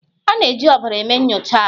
A na-eji ọbara eme nyocha ahụ.